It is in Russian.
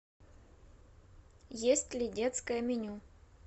есть ли детское меню